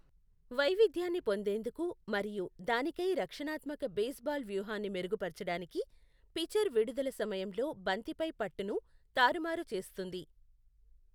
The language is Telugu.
వైవిధ్యాన్ని పొందేందుకు మరియు దానికై రక్షణాత్మక బేస్బాల్ వ్యూహాన్ని మెరుగుపరచడానికి, పిచర్ విడుదల సమయంలో బంతిపై పట్టును తారుమారు చేస్తుంది.